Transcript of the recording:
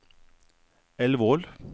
Elvål